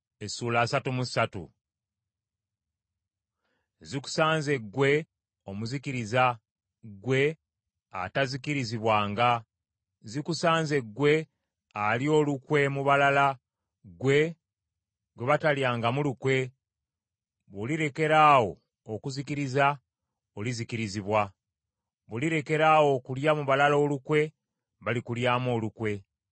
Zikusanze ggwe omuzikiriza ggwe atazikirizibwanga. Zikusanze ggwe alya olukwe mu balala, ggwe, gwe batalyangamu lukwe, bw’olirekaraawo okuzikiriza, olizikirizibwa. Bw’olirekeraawo okulya mu balala olukwe, balikulyamu olukwe.